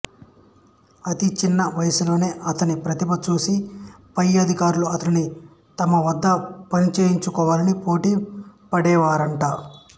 అతి చిన్న వయసులోనే అతని ప్రతిభ చూసి పై అధికారులు అతనిని తమ వద్ద పనిచేయించు కోవాలని పోటీ పడేవారట